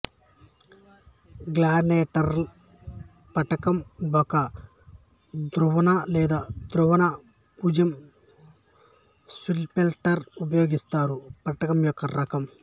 Glan-Taylor పట్టకం ఒక ధ్రువణ లేదా ధ్రువణ పుంజం స్పిల్టర్ ఉపయోగింస్తారు పట్టకం యొక్క రకం